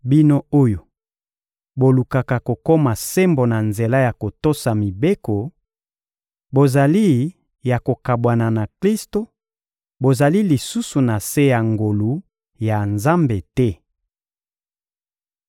Bino oyo bolukaka kokoma sembo na nzela ya kotosa mibeko, bozali ya kokabwana na Klisto, bozali lisusu na se ya ngolu ya Nzambe te.